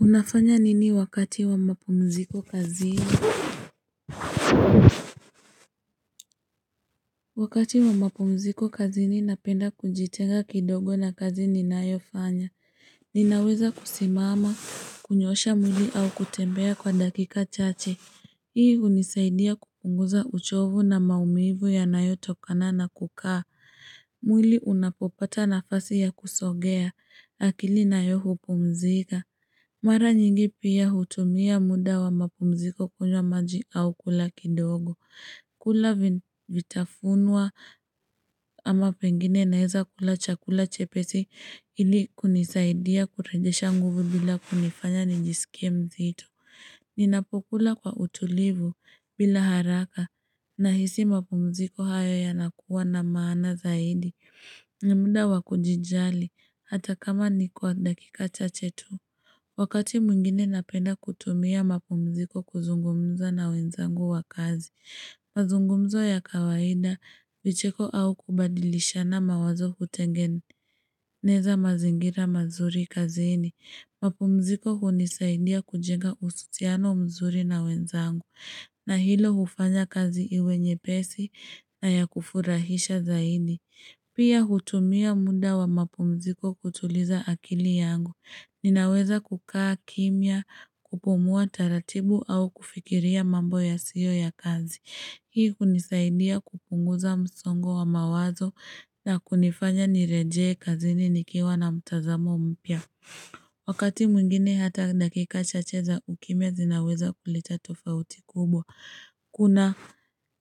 Unafanya nini wakati wa mapumziko kazini? Wakati wa mapumziko kazini napenda kujitenga kidogo na kazi ninayofanya. Ninaweza kusimama, kunyosha mwili au kutembea kwa dakika chache. Hii hunisaidia kupunguza uchovu na maumivu yanayotokana na kukaa. Mwili unapopata nafasi ya kusogea. Akili nayo hupumzika. Mara nyingi pia hutumia muda wa mapumziko kunywa maji au kula kidogo. Kula vitafunwa ama pengine naweza kula chakula chepesi ili kunisaidia kurejesha nguvu bila kunifanya nijisikie mzito. Ninapokula kwa utulivu bila haraka nahisi mapumziko hayo yanakuwa na maana zaidi. Ni muda wa kujijali hata kama ni kwa dakika chachae tu. Wakati mwingine napenda kutumia mapumziko kuzungumza na wenzangu wa kazi. Mazungumzo ya kawaida vicheko au kubadilishana mawazo hutengeneza mazingira mazuri kazini. Mapumziko hunisaidia kujenga uhusiano mzuri na wenzangu. Na hilo hufanya kazi iwe nyepesi na ya kufurahisha zaidi. Pia hutumia muda wa mapumziko kutuliza akili yangu. Ninaweza kukaa kimya kupumua taratibu au kufikiria mambo ya siyo ya kazi. Hii hunisaidia kupunguza msongo wa mawazo na kunifanya nirejee kazini nikiwa na mtazamo mpya. Wakati mwingine hata dakika chache za ukimya zinaweza kuleta tofauti kubwa. Kuna.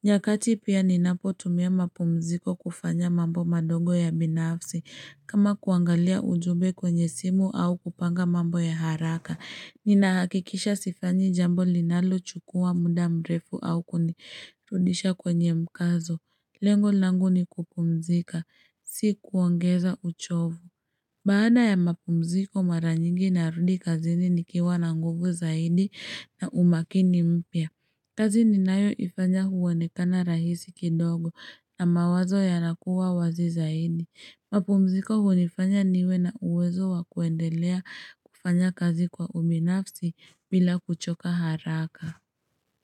Nyakati pia ninapotumia mapumziko kufanya mambo madogo ya binafsi. Kama kuangalia ujube kwenye simu au kupanga mambo ya haraka. Nina hakikisha sifanyi jambo linalochukua muda mrefu au kunirudisha kwenye mkazo. Lengo langu ni kupumzika. Si kuongeza uchovu. Baada ya mapumziko mara nyingi narudi kazini nikiwa na nguvu zaidi na umakini mpya. Kazini ninayoifanya huonekana rahisi kidogo na mawazo yanakuwa wazi zaidi. Mapumziko hunifanya niwe na uwezo wa kuendelea kufanya kazi kwa ubinafsi bila kuchoka haraka.